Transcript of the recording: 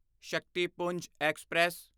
Shaktipunj express